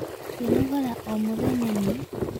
Kwĩnogora oh mũthenya nĩ